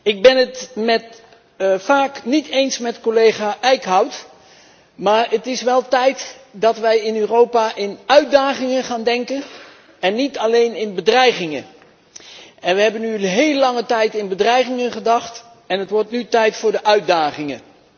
Ik ben het vaak niet eens met collega Eickhout, maar het is wel tijd dat wij in Europa in termen van uitdagingen gaan denken, en niet alleen in termen van bedreigingen. Wij hebben een heel lange tijd in termen van bedreigingen gedacht en het wordt nu tijd voor de uitdagingen.